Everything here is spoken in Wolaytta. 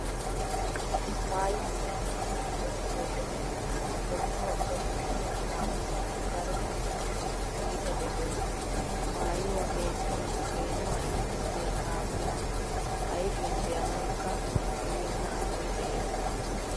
Maayuwaa meecciiddi gorppiyo wode hoommuwaa coppu giya saamunaa daro asay iita dosees. Maayuwaa meeccin peenuwaa iitissiyaa saamunaa ayfiyan be'anawukka koyenna asay de"ees.